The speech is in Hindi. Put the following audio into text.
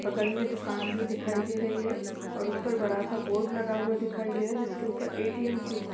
बगल में दुकान भी दिखाई दे रही है और ऊपर बड़ा-सा बोर्ड लगा हुआ दिखाई दे रहा है। जिसके ऊपर ए.टी.एम क्यूब --